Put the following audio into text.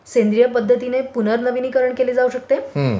हा, हा.